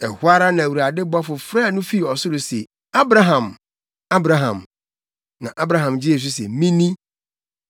Ɛhɔ ara na Awurade bɔfo frɛɛ no fi ɔsoro se, “Abraham! Abraham!” Na Abraham gyee so se, “Me ni.”